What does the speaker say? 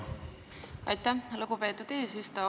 Aitäh, lugupeetud eesistuja!